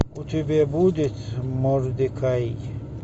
у тебя будет мордекай